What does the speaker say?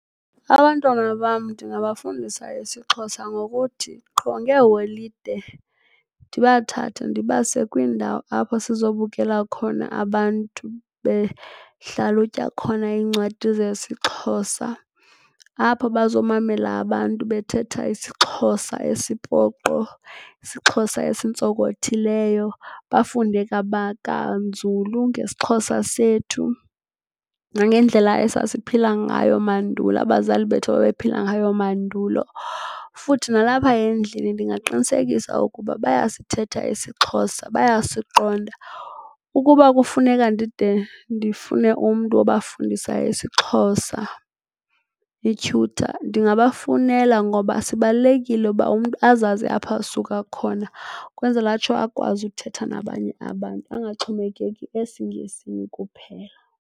Abantwana bam ndingabafundisa isiXhosa ngokuthi qho ngeeholide ndibathathe ndibase kwiindawo apho sizobukela khona abantu behlalutya khona iincwadi zesiXhosa, apho bazomamela abantu bethetha isiXhosa esipoqo, isiXhosa esintsonkothileyo bafunde kanzulu ngesiXhosa sethu nangendlela esasiphila ngayo mandulo. Abazali bethu ababephila ngayo mandulo. Futhi nalapha endlini ndingaqinisekisa ukuba bayasithetha isiXhosa, bayasiqonda. Ukuba kufuneka ndide ndifune umntu wobafundisa isiXhosa, ityhutha, ndingabafunela ngoba sibalulekile uba umntu azazi apha asuka khona, kwenzela atsho akwazi ukuthetha nabanye abantu angaxhomekeki esiNgesini kuphela.